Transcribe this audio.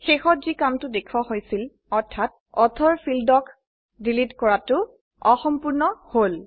শেষত যি কামটো দেখোৱা হৈছিলে অৰ্থাত লেখকৰ ক্ষেত্ৰৰ গেছে